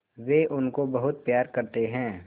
वे उनको बहुत प्यार करते हैं